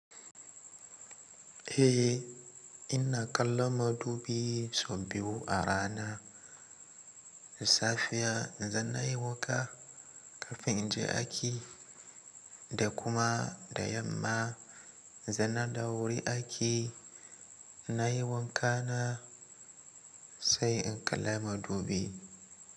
Eh ina kallon madubi sau biyu a rana safiya idan nayi wanka kafin inje aiki da kuma da yamma idan na dawo wurin aiki nayi wanka na sai in kalla madubi.